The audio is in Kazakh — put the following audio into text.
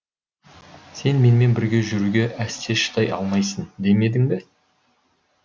сен менімен бірге жүруге әсте шыдай алмайсың демедім бе